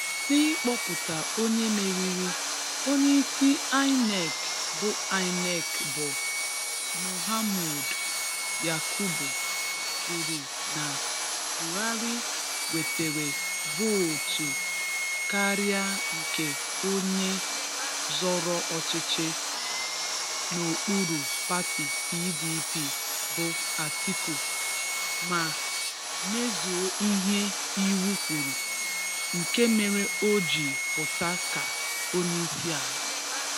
N'ịkpọpụta onye meriri, onyeisi Inec bụ Inec bụ Mahmood Yakubu kwuru na Buhari nwetere vootu karịa nke onye zọrọ ọchịchị n'okpuru pati PDP bụ Atiku Abubakar, ma mezuo ihe iwu kwuru, nke mere o ji pụta ka onyeisiala.